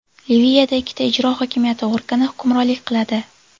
Liviyada ikkita ijro hokimiyati organi hukmronlik qiladi.